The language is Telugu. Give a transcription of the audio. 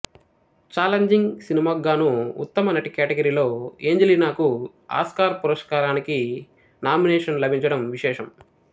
చాలెంజింగ్ సినిమాకుగానూ ఉత్తమ నటి కేటగిరీలో ఏంజలినాకు ఆస్కార్ పురస్కారానికి నామినేషన్ లభించడం విశేషం